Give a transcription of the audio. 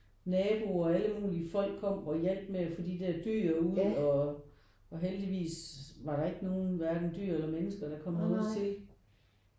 Naboer og alle mulige folk kom og hjalp med at få de der dyr ud og og heldigvis var der ikke nogen hverken dyr eller mennesker der kom noget til